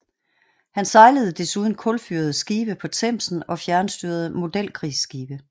Han sejlede desuden kulfyrede skibe på Themsen og fjernstyrede modelkrigsskibe